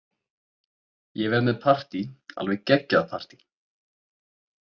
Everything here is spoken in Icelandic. Ég verð með partí, alveg geggjað partí.